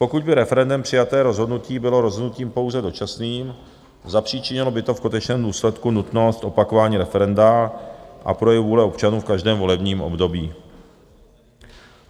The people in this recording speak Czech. Pokud by referendem přijaté rozhodnutí bylo rozhodnutím pouze dočasným, zapříčinilo by to v konečném důsledku nutnost opakování referenda a projev vůle občanů v každém volebním období.